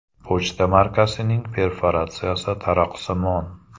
Pochta markasining perforatsiyasi taroqsimon.